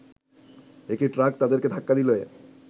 একটি ট্রাক তাদেরকে ধাক্কা দিলে